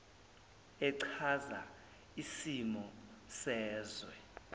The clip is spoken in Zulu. echaza isimo sezwe